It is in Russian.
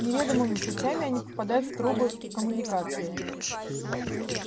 неведомыми путями они попадают в трубы в коммуникации